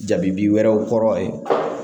Jabi wɛrɛw kɔrɔ a ye